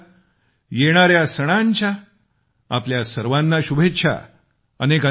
पुन्हा एकदा येणाऱ्या सणांच्या आपल्या सर्वांना शुभेच्छा